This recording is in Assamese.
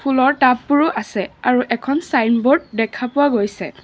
ফুলৰ টাববোৰো আছে আৰু এখন চাইনব'ৰ্ড দেখা পোৱা গৈছে।